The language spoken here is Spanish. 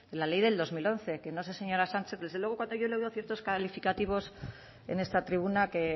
la ley del dos mil once que no sé señora sánchez desde luego cuando yo le oigo ciertos calificativos en esta tribuna que